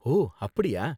ஓ, அப்படியா?